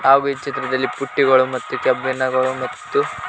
ಹಾಗು ಈ ಚಿತ್ರದಲ್ಲಿ ಪುಟ್ಟಿಗಳು ಮತ್ತು ಕೆಬ್ಬಿಣಗಳು ಮತ್ತು--